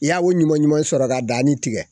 I y'a o ɲuman ɲuman sɔrɔ ka danni tigɛ